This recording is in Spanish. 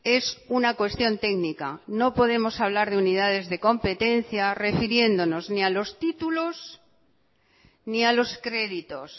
es una cuestión técnica no podemos hablar de unidades de competencia refiriéndonos ni a los títulos ni a los créditos